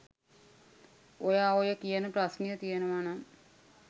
ඔයා ඔය කියන ප්‍රශ්නය තියෙනවා නම්